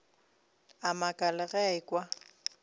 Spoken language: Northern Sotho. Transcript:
a makala ge a ekwa